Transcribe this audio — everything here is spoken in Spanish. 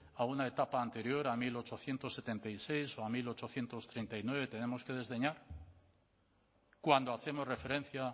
a una etapa anterior a mil ochocientos setenta y seis o a mil ochocientos treinta y nueve tenemos que desdeñar cuando hacemos referencia